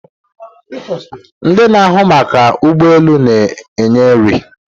Ndị na-ahụ maka ụgbọ elu na-enye nri